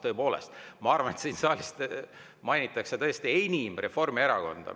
Tõepoolest, ma arvan, et siin saalis mainitakse tõesti enim Reformierakonda.